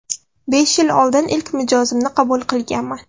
Besh yil oldin ilk mijozimni qabul qilganman.